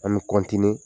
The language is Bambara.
An bɛ